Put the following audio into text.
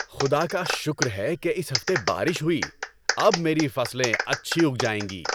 خدا کا شکر ہے کہ اس ہفتے بارش ہوئی۔ اب میری فصلیں اچھی اگ جائیں گی۔